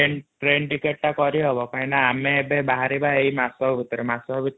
ଆରେ ଅତେ ଶିଖର କଣ ଟ୍ରେନ ଟିକେଟ ଟା କରିହବ କାଈନ ଆମେ ଏବେ ବାହାରିବା ଏଈ ମାସକ ଭିତରେ